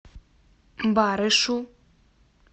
барышу